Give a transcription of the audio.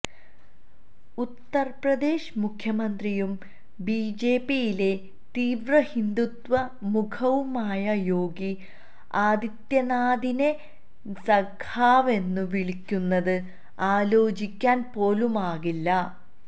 ഉത്തർപ്രദേശ് മുഖ്യമന്ത്രിയും ബിജെപിയിലെ തീവ്രഹിന്ദുത്വ മുഖവുമായ യോഗി ആദിത്യനാഥിനെ സഖാവെന്നു വിളിക്കുന്നത് ആലോചിക്കാൻ പോലുമാകില്ല